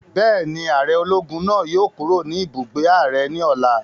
Bẹ́ẹ̀ni, ààrẹ ológun náà yóò kúrò ní ibùgbé ààrẹ ní ọ̀la